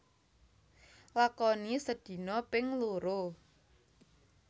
Lakoni sedina ping loro